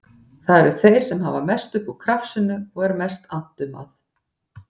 Það eru þeir sem hafa mest upp úr krafsinu og er mest annt um að